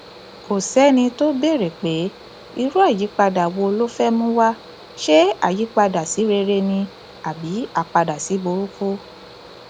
kò sẹni tó béèrè pé irú àyípadà wo ló fẹẹ mú wa ṣe àyípadà sí rere ni àbí apàdásíburúkú